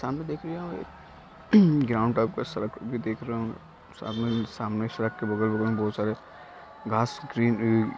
सामने देख रहे है एक ग्राउंड टाइप का सड़क भी देख रहे होंगे सड़क के बगल-बगल मे बहुत सारे घास ग्रीन ग्रीन --